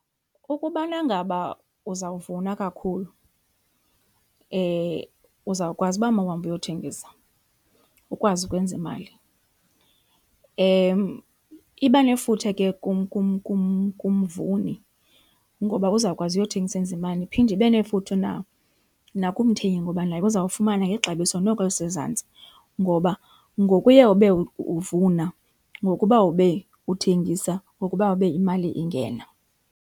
Ukubana ngaba uzawuvuna kakhulu, uzawukwazi uba mawuhambe uyothengisa ukwazi ukwenza imali. Iba nefuthe ke kumvuni ngoba uzawukwazi uyothengisa enze imali, iphinde ibe nefuthe nakumthengi ngoba naye uzawufumana ngexabiso noko elisezantsi. Ngoba ngokuye ube uvuna, ngokuba ube uthengisa ngokuba ube imali ingena.